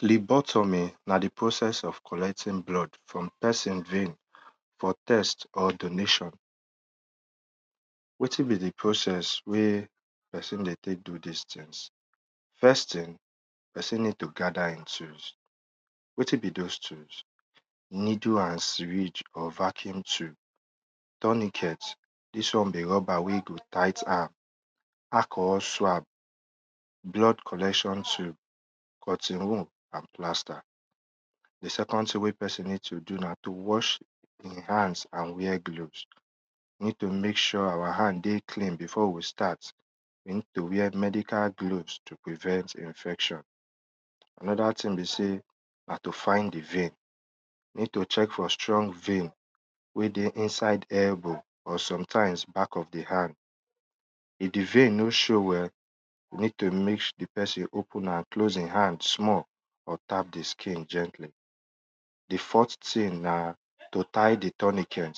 Filing buttom na di process of collecting blood for pesin vein for test or donation. Wetin be di process wey pesin dey teek do dis things first thing, pesin need to gther e tools wetin be those tools, needle and syring or vacuum needle nd syring or vacuum tubes, dis won be rubber wey go ti ght am, alcohol swap, blood collection, cotton wool and plaster. Di second thing wey pesin ne to do na towash e hand and wear glkoves, you ned to mek sure our hand dey clean before we staqrt, we need to wear medical gloves to prevent infection,. Anoda thing be sey na to find di vein, need to check for strong vein wey dey inside airbow or sometimes back of di hand, if di vein no show well, we need to mek di pesin open e hand and close am small or tp di skin gently. Di fourth thing a to tie di tonical.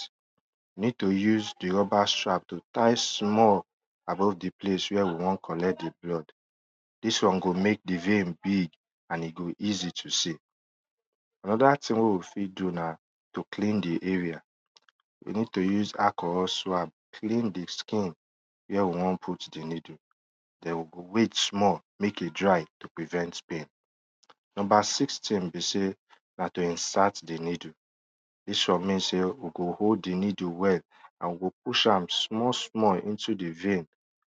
Ned to use di rubber strqap to tie small above di place where we won collect di blood dis won go mek di vein easy to see. Anoda thing wey we fit do na to clean d area, we need to use alcohol swan clean di skin whre we won put di needle den we go wait small to prevent pain. Number six thing b sey na to insert di needle.’ Dis won mean sey we go hold di needle well nd we go push am small small into di vein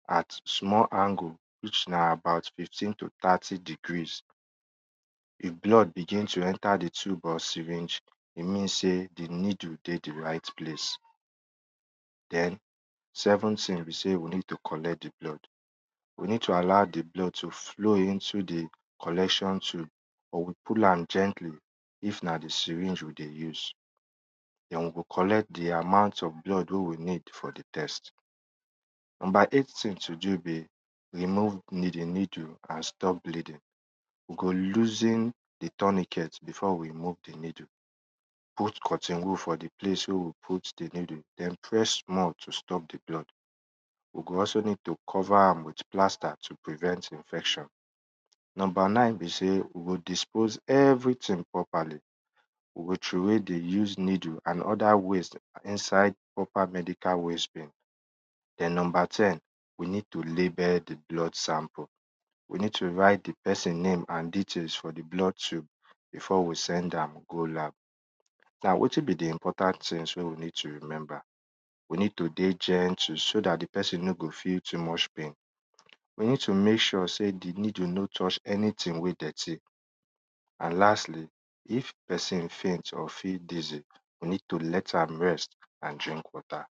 at small angle which na about fifteen to thirty degrees, e blood begn to enter di tube or syring, e mean sey di needle dey di right place. Den seven thing be sey we need to collect di blood, we ned to allow di blood to flow into di collection tube or we pull am gentkly if na di syring we dey use den we go collect di amount of blood wey we need for di tewst. Number eght thing wey we need remove di needle, we go loosen di tunneket before we move di needle, put cotton wdool for di place wey we commot di needle, den press to stop di blood, we go also need to cover am with plaster to prevent infection. Number nine be sey we godispose everything properly, we go throw away di used needle and other waste inide proper medical wast bin. Den number ten, we need to label di blood sample, we need to write di pesin nam ,e for di blood tube before we send am go lab. Wetin b di important thing wey we need to remember, we need to dey gemtle so dat di pesin no go feel too muc h pain, we need to mek sure sey di needle no touch anything wey dirty and lastlyif pesin faint or feel dizzy, we need to let am rest or drink water.